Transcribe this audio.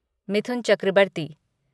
Mithun Chakraborty